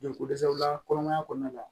Je ko dɛsɛw la kɔnɔmaya kɔnɔna la